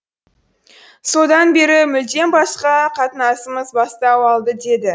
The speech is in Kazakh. содан бері мүлдем басқа қатынасымыз бастау алды деді